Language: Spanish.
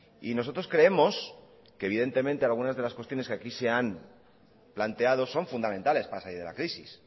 y nosotros creemos que evidentemente algunas de las cuestiones que aquí se han planteado son fundamentales para salir de la crisis